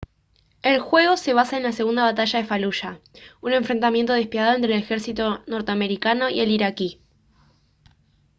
el juego se basa en la segunda batalla de faluya un enfrentamiento despiadado entre el ejército norteamericano y el iraquí